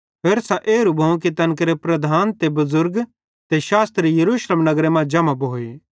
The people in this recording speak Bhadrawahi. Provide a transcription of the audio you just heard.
होरसां एरू भोवं कि तैन केरे लीडर ते बुज़ुर्ग ते शास्त्री यरूशलेम नगरे मां जम्हां भोए